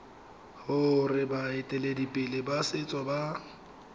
gore baeteledipele ba setso ba